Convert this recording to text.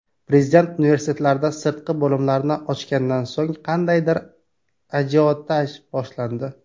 Prezident universitetlarda sirtqi bo‘limlarni ochgandan so‘ng qandaydir ajiotaj boshlandi.